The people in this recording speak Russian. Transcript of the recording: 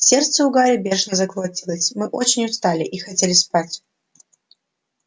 сердце у гарри бешено заколотилось мы очень устали и хотели спать